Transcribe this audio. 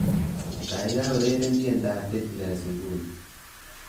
Kaikai ureren tiendoab Beatles nguni